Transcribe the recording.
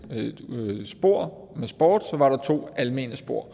spor med sport og så var der to almene spor